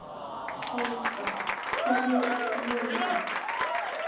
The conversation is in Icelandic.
Helga: Hverjir voru það?